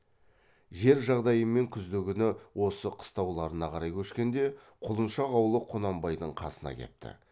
жер жағдайымен күздігүні осы қыстауларына қарай көшкенде құлыншақ аулы құнанбайдың қасына кепті